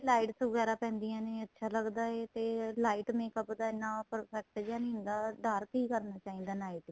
lights ਵਗੈਰਾ ਪੈਂਦੀਆਂ ਨੇ ਅੱਛਾ ਲੱਗਦਾ ਏ ਤੇ light makeup ਇੰਨਾ perfect ਜਾ ਨਹੀਂ ਹੁੰਦਾ dark ਹੀ ਕਰਨਾ ਚਾਹੀਦਾ ਏ night ਚ